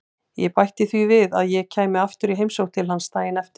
Ég bætti því við að ég kæmi aftur í heimsókn til hans daginn eftir.